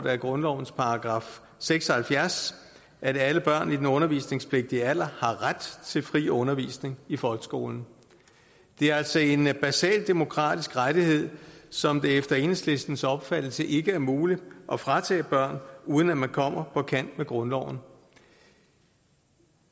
af grundlovens § seks og halvfjerds at alle børn i den undervisningspligtige alder har ret til fri undervisning i folkeskolen det er altså en basal demokratisk rettighed som det efter enhedslistens opfattelse ikke er muligt at fratage børn uden at man kommer på kant med grundloven